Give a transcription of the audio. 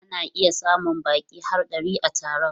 Ana iya samun baƙi har ɗari a taron.